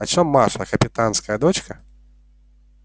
а что маша капитанская дочка